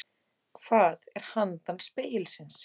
Hvað er handan spegilsins